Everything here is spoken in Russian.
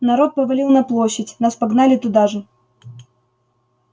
народ повалил на площадь нас погнали туда же